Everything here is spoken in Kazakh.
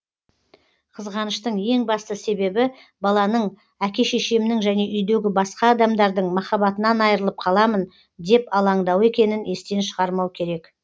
қызғаныштың ең басты себебі баланың әке шешемнің және үйдегі басқа адамдардың махаббатынан айрылып қаламын деп алаңдауы екенін естен шығармау керек